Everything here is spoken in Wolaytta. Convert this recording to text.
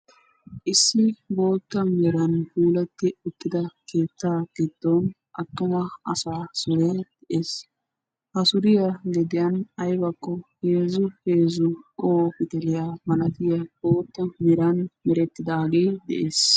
Issi bootta meeran puulati uttida keetta giddon attuma asaa suure de'ees. Ha suuriya liphphiyan aybako heezzu heezzu qoho guuxxuniya malatiya bootta meeran merettidage de'ees.